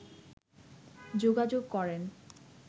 যোগাযোগ করেন